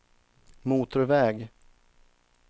motorväg